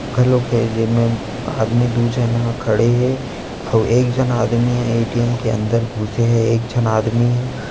घलोक हे जेमे आदमी दू झन हा खड़े हे अउ एक झन आदमी यहाँ ए. टी. एम के अंदर घुसे हे एक झन आदमी ह--